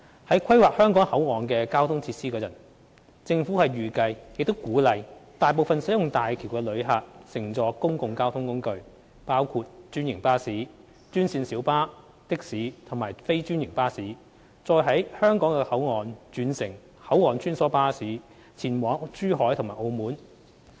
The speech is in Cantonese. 在規劃香港口岸的交通設施時，政府預計亦鼓勵大部分使用大橋的旅客乘坐公共交通工具，包括專營巴士、專線小巴、的士及非專營巴士，再於香港口岸轉乘口岸穿梭巴士前往珠海及澳門。